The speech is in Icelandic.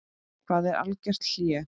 Hvað er algert hlé?